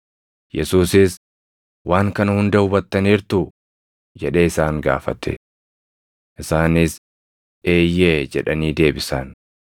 Yesuusis, “Waan kana hunda hubattaniirtuu?” jedhee isaan gaafate. Isaanis, “Eeyyee” jedhanii deebisan.